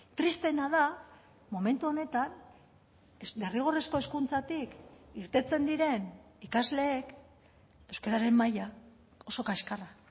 tristeena da momentu honetan derrigorrezko hezkuntzatik irteten diren ikasleek euskararen maila oso kaxkarra